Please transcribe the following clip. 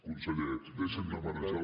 conseller deixin de marejar